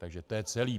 Takže to je celé.